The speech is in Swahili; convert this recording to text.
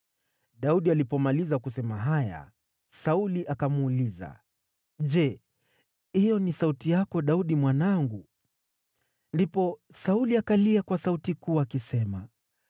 Daudi alipomaliza kusema haya, Sauli akamuuliza, “Je, hiyo ni sauti yako, Daudi mwanangu?” Ndipo Sauli akalia kwa sauti kuu, akisema,